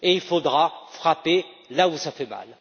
Il faudra frapper là où ça fait mal.